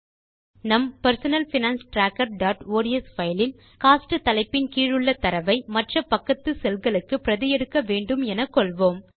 நம் personal finance trackerஒட்ஸ் file இல் கோஸ்ட் தலைப்பின் கீழுள்ள தரவை மற்ற பக்கத்து செல் களுக்கு பிரதி எடுக்க வேண்டும் எனக்கொள்வோம்